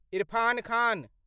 Irfan Khan